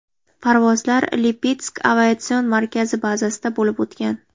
Parvozlar Lipetsk aviatsion markazi bazasida bo‘lib o‘tgan.